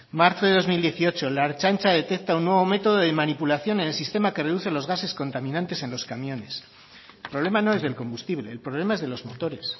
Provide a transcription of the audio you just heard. marzo de dos mil dieciocho la ertzaintza detecta un nuevo método de manipulación en el sistema que reduce los gases contaminantes en los camiones el problema no es del combustible el problema es de los motores